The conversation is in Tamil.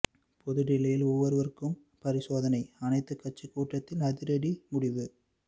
பொது டில்லியில் ஒவ்வொருவருக்கும் பரிசோதனை அனைத்துக் கட்சி கூட்டத்தில் அதிரடி முடிவு